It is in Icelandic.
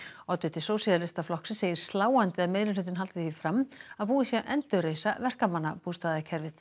oddviti Sósíalistaflokksins segir sláandi að meirihlutinn haldi því fram að búið sé að endurreisa verkamannabústaðakerfið